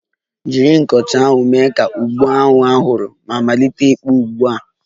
Jiri nkọcha ahụ, mee ka agụba ahụ a hụrụ ma malite ịkpụ ugbu a!